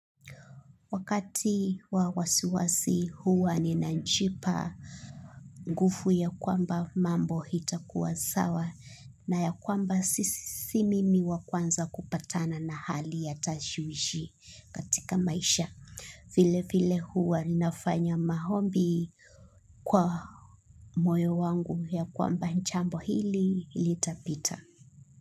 Wakati wa wasiwasi huwa ninajipa nguvu ya kwamba mambo itakuwa sawa. Na ya kwamba si si mimi wakwanza kupatana na hali ya tashwishi katika maisha. Vile vile huwa ninafanya maombi kwa moyo wangu ya kwamba jambo hili litapita.